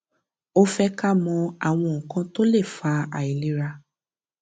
ó fẹ ká mọ àwọn nǹkan tó le fa àìlera